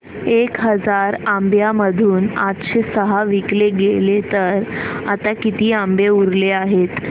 एक हजार आंब्यांमधून आठशे सहा विकले गेले तर आता किती आंबे उरले आहेत